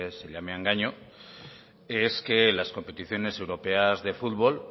se lleve a engaño es que las competiciones europeas de fútbol